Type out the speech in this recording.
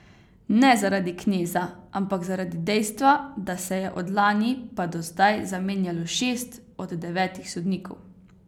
Ne zaradi Kneza, ampak zaradi dejstva, da se je od lani pa do zdaj zamenjalo šest od devetih sodnikov.